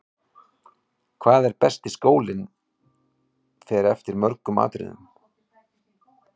Hvað er besti skólinn fer eftir mörgum atriðum.